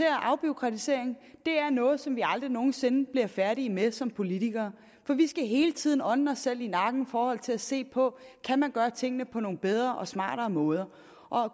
at afbureaukratisering er noget som vi aldrig nogen sinde bliver færdige med som politikere for vi skal hele tiden ånde os selv i nakken i forhold til at se på om kan gøre tingene på nogle bedre og smartere måder